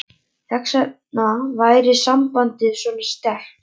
Þess vegna væri sambandið svona sterkt.